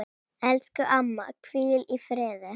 Elsku amma, hvíl í friði.